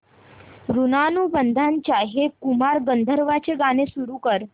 ऋणानुबंधाच्या हे कुमार गंधर्वांचे गीत सुरू कर